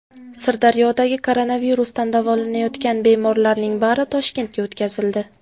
Sirdaryodagi koronavirusdan davolanayotgan bemorlarning bari Toshkentga o‘tkazildi.